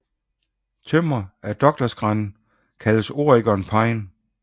Tømmer af Douglasgran kaldes Oregon pine